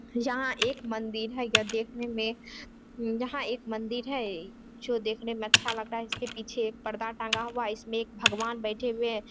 यहाँ एक मंदिर है। यह देखने में यहाँ एक मंदिर है जो देखने मे अच्छा लगता है। इसके पीछे में एक पर्दा टांगा हुआ है। इसमें एक भगवान बैठे हुए हैं।